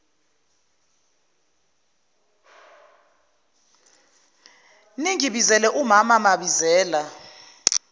ningibizele umaam mabizela